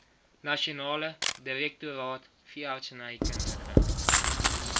nasionale direktoraat veeartsenykundige